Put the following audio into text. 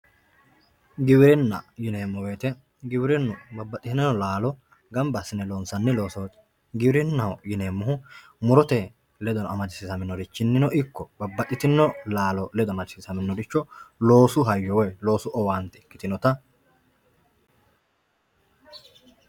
Giwirinna yineemmo woyte giwirinu babbaxino laalo gamba assine loonsanni loosoti giwirinnaho yineemmohu murote ledo amadisiisaminorichinino ikko babbaxitino laalo ledo amadisiisaminoricho loosu hayyo woyi loosu owaante ikkitinotta